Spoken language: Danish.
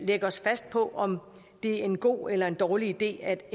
lægge os fast på om det er en god eller en dårlig idé at